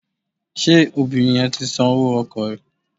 Ṣé obìnrin yẹn ti san owó ọkọ̀ rẹ̀?